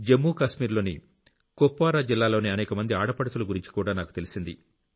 జమ్మూకాశ్మీర్ లోని కుప్వారా జిల్లాలోని అనేక మంది ఆడపడుచుల గురించి కూడా నాకు తెలిసింది